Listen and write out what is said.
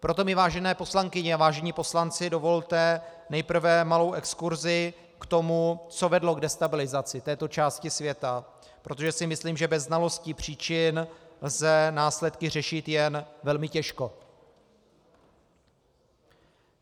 Proto mi, vážené poslankyně a vážení poslanci, dovolte nejprve malou exkurzi k tomu, co vedlo k destabilizaci této části světa, protože si myslím, že bez znalosti příčin lze následky řešit jen velmi těžko.